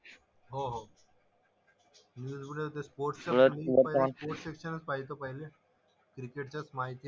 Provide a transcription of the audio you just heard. हो हो. न्यूजमधे ते स्पोर्ट्स स्पोर्ट्स सेक्शनच पाहायचो पहिलं. क्रिकेट जस्ट माहिती,